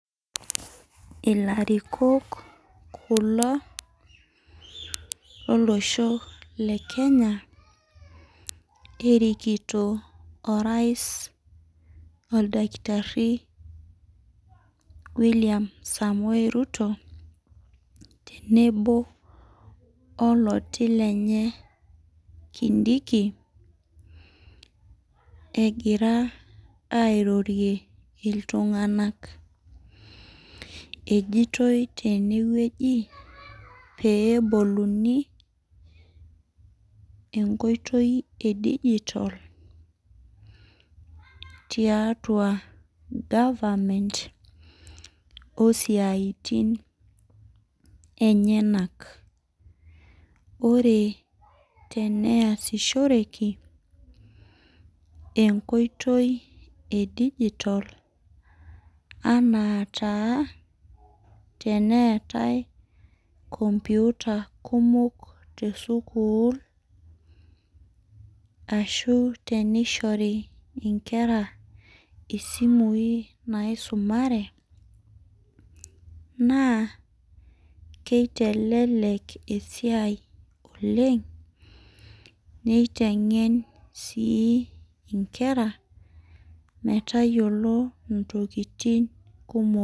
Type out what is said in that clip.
Ilarikok kulo tolosho le kenya nerikito Orais oldakitari William Ruto tenebo oloti lenye Kindiki, egira airorie iltunganak. Kejoitoi tenewueji peyie eboluni enkoitoi tiatua digital osiatin enyanak. Ore teneasishoreki naitoi anaa taa teneetai kupita kumok te sukuul ashu teneishori nkera isimui naisumare naa keitelelek esia oleng. Keiteng sii nkera metayiolo ntokitin kumok